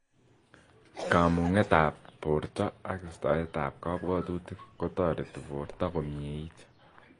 Kamung'et ab borto ak istaet ab kabwatutik kotareti borto komyeit